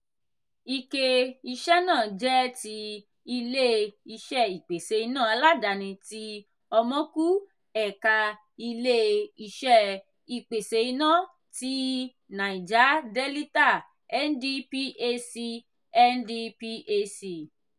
ike iṣẹ́ náà jẹ́ ti ilé-iṣé ìpèsè iná aládàáni tí omoku ẹ̀ka ilé-iṣẹ ìpèsè iná tí naija delita (ndphc) (ndphc)